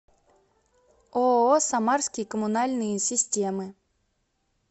ооо самарские коммунальные системы